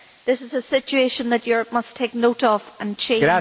This is a situation that Europe must take note of and change.